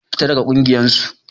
Fita daga ƙungiyar su!